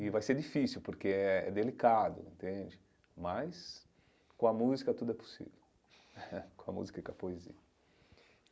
E vai ser difícil, porque é delicado entende, mas com a música tudo é possível, com a música e com a poesia.